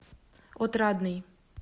отрадный